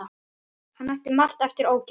Hann ætti margt eftir ógert.